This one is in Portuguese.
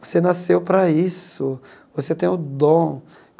Você nasceu para isso, você tem o dom.